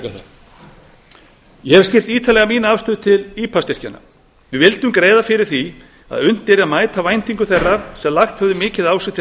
það ég hef skýrt ítarlega mína afstöðu til ipa styrkjanna við vildum greiða fyrir því að unnt yrði að mæta væntingum þeirra sem lagt höfðu mikið á sig til að